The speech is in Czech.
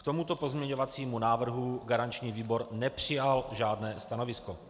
K tomuto pozměňovacímu návrhu garanční výbor nepřijal žádné stanovisko.